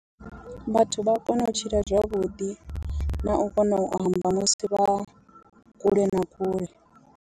Vhathu vha a kona u tshila zwavhuḓi na u kona u amba musi vha kule na kule.